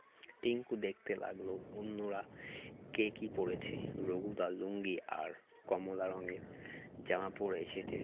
টিংকু দেখতে লাগলো অন্যরা কে কী পরেছে রঘুদা লুঙ্গি আর কমলা রঙের জামা পরে এসেছে